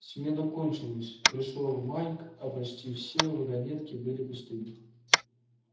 смена кончилась пришёл майк а почти все вагонетки были пустыми